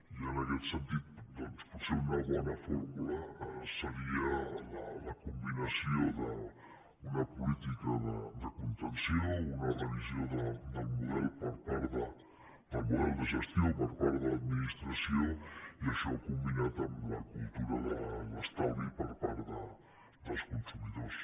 i en aquest sentit doncs potser una bona fórmula seria la combinació d’una política de contenció una revisió del model de gestió per part de l’administració i això combinat amb la cultura de l’estalvi per part dels consumidors